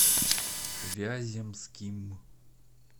вяземским